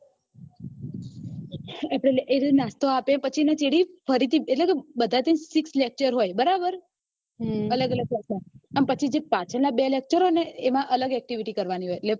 એર્યો નાસ્તો આપે પછી એના ચેડેફરીથી એટલે કે બધા થઇ six lecture હોય બરાબર અલગ અલગ અને પછી પાછળ ના બે lecture હોય ને એમાં અલગ activity કરવાની હોય